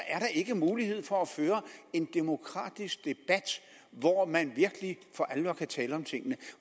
er der ikke mulighed for at føre en demokratisk debat hvor man virkelig for alvor kan tale om tingene